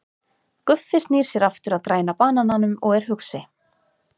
Guffi snýr sér aftur að Græna banananum og er hugsi.